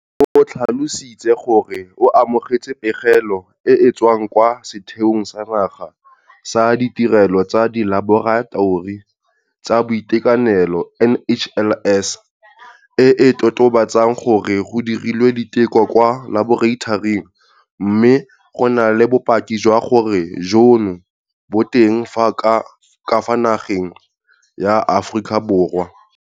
O tlhalositse gore o amogetse pegelo e e tswang kwa Setheong sa Naga sa Ditirelo tsa Dilaboratori tsa Boitekanelo, NHLS, e e totobatsang gore go dirilwe diteko kwa laboratoring mme go na le bopaki jwa gore bolwetse jono bo teng ka fa nageng ya Aforika Borwa.